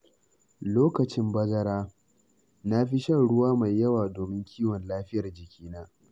Lokacin bazara, na fi shan ruwa mai yawa domin kiwon lafiyar jikina.